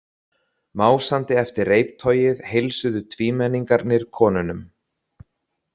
Másandi eftir reiptogið heilsuðu tvímenningarnir konunum.